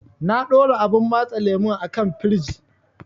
Na ɗora abun matse lemun a kan firij.